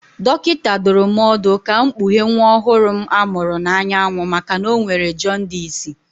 Dọkịta dụrụ m ọdụ ka m kpughee nwa ọhụrụ m a mụrụ n'anyanwụ maka na ọ nwere jọndisị